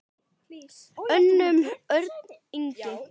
Hönnun: Örn Ingi.